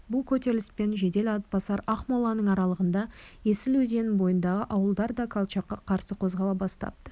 бұл көтеріліспен жедел атбасар ақмоланың аралығында есіл өзенінің бойындағы ауылдар да колчакқа қарсы қозғала бастапты